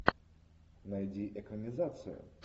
найди экранизацию